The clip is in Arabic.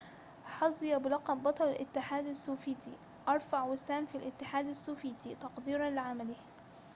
حظي بلقب بطل الاتحاد السوفياتي أرفع وسام في الاتحاد السوفياتي تقديرًا لعمله